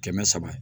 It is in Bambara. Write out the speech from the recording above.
Kɛmɛ saba